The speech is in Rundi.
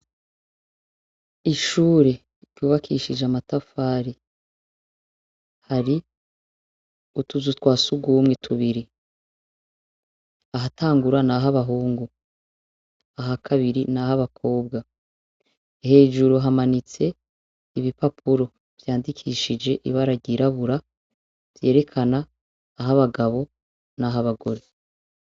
Ishure ryubakishije amatafari, hari ,utuzu twa sugumwe tubiri, ahatangura nah'abahungu, ahakabiri nah'abakobwa, hejuru hamanitse ibipapuro vyandikishije ibara ryirabura vyerekana ah'abagabo, nah'abagore.